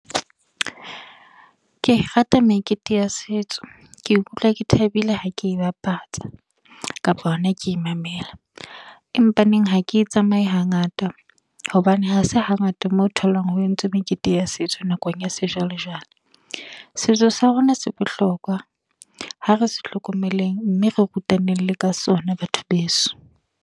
Ke rata mekete ya setso, ke ikutlwa ke thabile ha ke bapatsa. Kapa hona ke e mamela. Empaneng ha ke tsamaye hangata. Ho ba hobane ha se hangata mo tholang ho entswe mekete ya setso, nakong ya sejwalejwale. Setso sa rona se bohlokwa. Ha re sehlokomeleng, mme re rutaneng le ka sona batho beso.